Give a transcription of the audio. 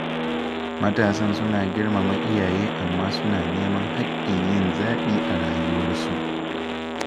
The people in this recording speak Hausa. Matasan suna girmama iyaye amma suna neman hakkin yin zaɓi a rayuwarsu